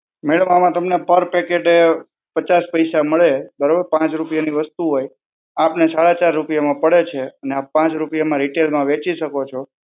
madam આમાં તમને પર packet પચાસ પૈસા મળે. બરોબર? પાંચ રૂપિયાની વસ્તુ હોય. આપને એ સાડા ચાર રૂપિયામાં પડે છે અને પાંચ રૂપિયામાં retail માં વેચી શકો છો.